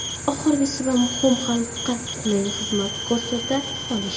Oxirgisi va muhimi xalqqa qulay xizmat ko‘rsata olish.